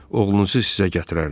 Oğlunuzu sizə gətirərdim.